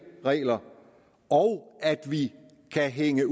regler og at vi kan hænge